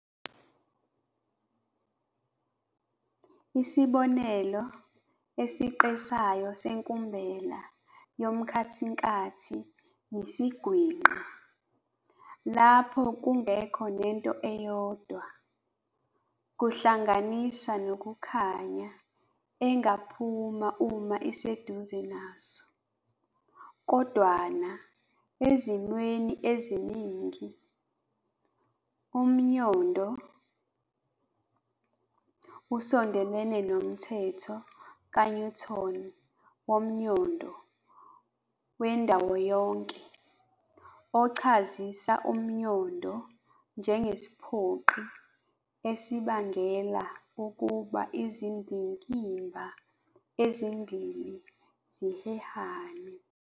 Isibonelo esiqesayo senkumbela yomkhathinkathi yisiGwinqa, lapho kungekho nento eyodwa - kuhlanganisa nokukhanya - engaphunyuka uma iseduze naso. Kodwana, ezimweni eziningi, umnyondo usondelene nomthetho kaNewton womnyondo wendawoyonke, ochazisa umnyondo njengesiphoqi esibangela ukuba izindikimba ezimbili zihehane.